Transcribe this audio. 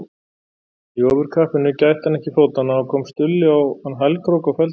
Í ofurkappinu gætti hann ekki fótanna og kom Stulli á hann hælkrók og felldi hann.